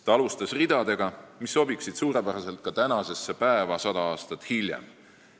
Ta alustas ridadega, mis sobiksid suurepäraselt ka tänasesse päeva 100 aastat hiljem.